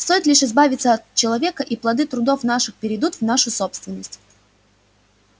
стоит лишь избавиться от человека и плоды трудов наших перейдут в нашу собственность